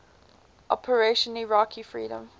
operation iraqi freedom